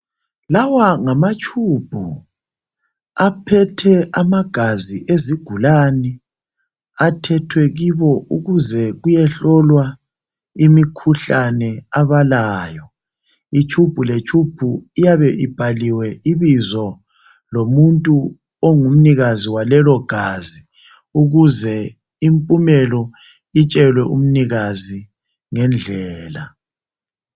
Lawa ngamatshubhu aphethe amagazi ezigulane, athethwe kibo ukuze kuyehlolwa imikhuhlane abalayo. Itshubhu letshubhu iyabe ibhaliwe ibizo lomuntu ongumnikazi walelo gazi ukuze impumelo itshelwe umnikazi ngendlela